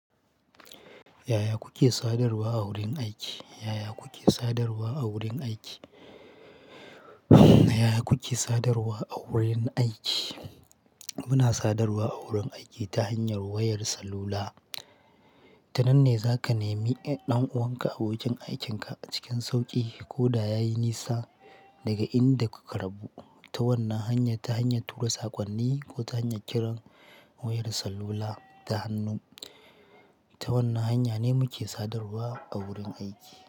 Yaya kuke sadarwa a wurin aiki? Yaya kuke sadarwa a wurin aiki? Yaya kuke sadarwa a wurin aiki? Muna sadarwa a wurin aiki ta hanyar wayar salula. Tananne za ka nemi ɗan'uwanka abokin aikin ka cikin sauƙi ko da ya yi nisa daga inda kuka rabu. Ta wannan hanya, ta hanyar tura sakonni ko ta hanyar kiran wayar salula da hannu. Ta wannan hanya ne muke sadarwa a wurin aiki.